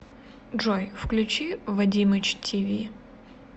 джой включи вадимыч ти ви